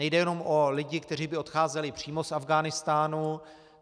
Nejde jenom o lidi, kteří by odcházeli přímo z Afghánistánu.